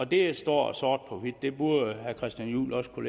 det står sort på hvidt det burde herre christian juhl også kunne